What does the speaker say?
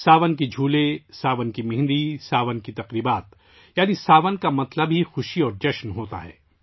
ساون کے جھولے، ساون کی مہندی، ساون کے تہوار... یعنی 'ساون' کا مطلب ہی خوشی اور جوش ہے